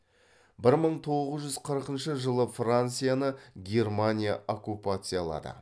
бір мың тоғыз жүз қырқыншы жылы францияны германия оккупациялады